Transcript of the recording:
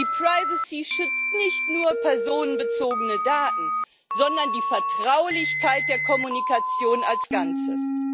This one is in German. ePrivacy schützt nicht nur personenbezogene Daten, sondern die Vertraulichkeit der Kommunikation als Ganzes.